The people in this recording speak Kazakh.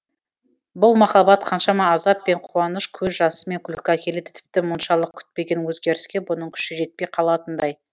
бұл махаббат қаншама азап пен қуаныш көз жасы мен күлкі әкеледі тіпті мұншалық күтпеген өзгеріске бұның күші жетпей қалатындай